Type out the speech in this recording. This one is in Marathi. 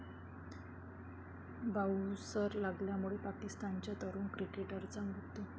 बांऊसर लागल्यामुळे पाकिस्तानच्या तरूण क्रिकेटरचा मृत्यू